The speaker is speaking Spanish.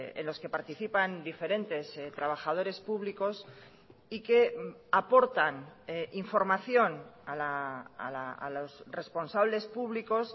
en los que participan diferentes trabajadores públicos y que aportan información a los responsables públicos